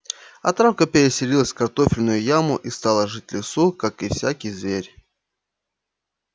а травка переселилась в картофельную яму и стала жить в лесу как и всякий зверь